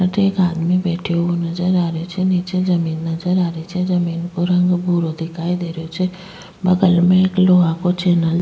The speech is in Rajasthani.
अठे एक आदमी बैठ्यो वो नजर आ रहियो छे नीचे जमीन नजर आ रही छे जमीन को रंग भूरो दिखाई दे रहियो छे बगल में एक लोह को चेंनल --